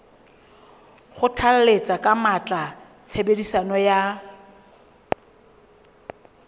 kgothalletsa ka matla tshebediso ya